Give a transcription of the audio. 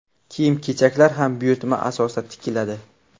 Kiyim-kechaklar ham buyurtma asosida tikiladi.